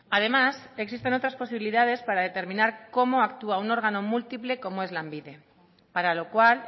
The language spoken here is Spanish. además existen otras posibilidades para determinar cómo actúa un órgano múltiple como es lanbide para lo cual